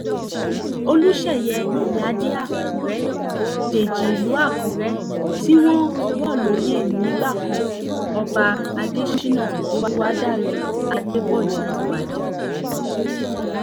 olùṣeyẹ ìyíáde àkùrẹ́ dèjì ìlú àkùrẹ́ tí wọ́n rọ̀ lóyè nígbà kan ọba adésínà olùwádàrẹ adépọ́jù ti wájà